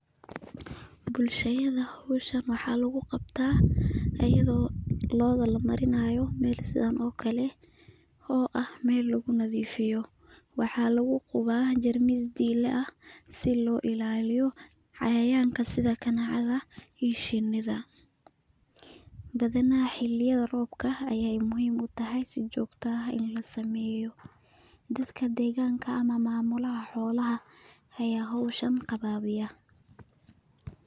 Bulshada howshan waxaa lagu qabtaa ayado looda lamarinayo meshan si loo daaweyo ,xawayanada kaneecada iyo shinida, waqtiyaha roobka ayaa badanaa la qabtaa howshan.